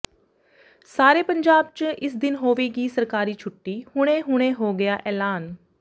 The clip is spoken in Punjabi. ਸਾਰੇ ਪੰਜਾਬ ਚ ਇਸ ਦਿਨ ਹੋਵੇਗੀ ਸਰਕਾਰੀ ਛੁੱਟੀ ਹੁਣੇ ਹੁਣੇ ਹੋ ਗਿਆ ਐਲਾਨ